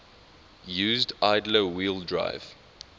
used idler wheel drive